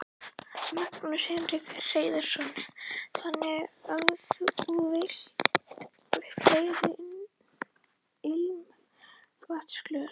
Magnús Hlynur Hreiðarsson: Þannig að þú vilt fleiri ilmvatnsglös?